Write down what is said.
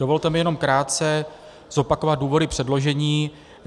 Dovolte mi jenom krátce zopakovat důvody předložení.